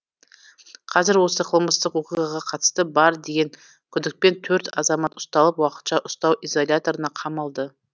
қазір осы қылмыстық оқиғаға қатысы бар деген күдікпен төрт азамат ұсталып уақытша ұстау изоляторына қамалды